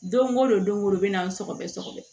Don o don o bɛ na sɔgɔbɛ sɔgɔbɛ